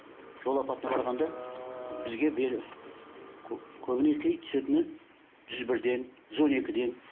жол апатына барғанда бізге көбіне түсетін жүз бірден жүз он екіден